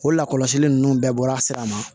O lakɔlɔsili ninnu bɛɛ bɔra sira ma